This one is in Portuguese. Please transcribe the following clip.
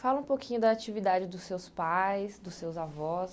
Fala um pouquinho da atividade dos seus pais, dos seus avós,